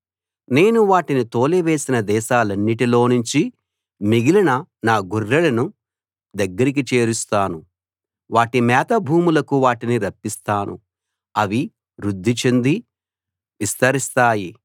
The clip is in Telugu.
నేను వాటిని తోలి వేసిన దేశాలన్నిటిలో నుంచి మిగిలిన నా గొర్రెలను దగ్గరికి చేరుస్తాను వాటి మేత భూములకు వాటిని రప్పిస్తాను అవి వృద్ధి చెంది విస్తరిస్తాయి